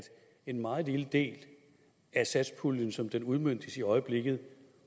en meget lille del af satspuljen som den udmøntes i øjeblikket